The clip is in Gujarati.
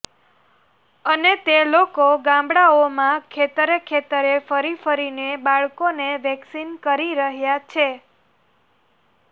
અને તે લોકો ગામડાઓમાં ખેતરે ખેતરે ફરી ફરીને બાળકોને વેક્સીન કરી રહ્યા છે